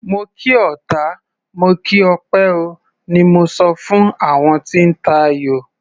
Mo kí ọta, mo kí òpè o, ni mo sọ fún àwọn tí ń tayò.